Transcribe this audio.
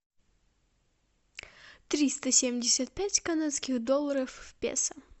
триста семьдесят пять канадских долларов в песо